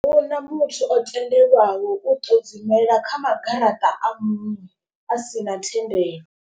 Ahuna muthu o tendelwaho u ṱodzimela kha magaraṱa a muṅwe a si na thendelo.